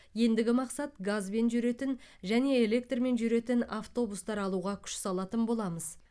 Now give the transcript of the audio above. ендігі мақсат газбен жүретін және электрмен жүретін автобустар алуға күш салатын боламыз